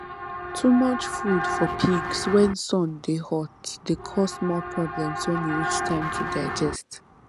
too much food for pigs when sun dey hot dey cause more problems when e reach time to digest